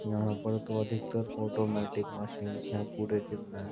यहां पर तो अधिकतर ऑटोमेटिक मशींस है पूरे जिम में --